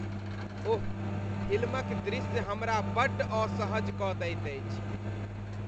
ओह! फिल्मक दृश्य हमरा बड्ड असहज कऽ दैत अछि।